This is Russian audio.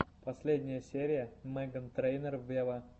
последняя серия меган трейнер вево